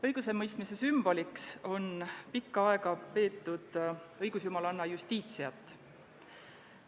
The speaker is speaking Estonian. Õigusemõistmise sümboliks on pikka aega peetud õigusjumalanna Justitiat.